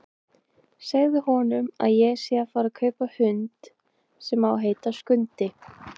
Segðu honum að ég sé að fara að kaupa hund sem á að heita Skundi!